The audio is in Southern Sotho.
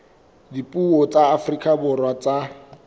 dipuo tsa afrika borwa tsa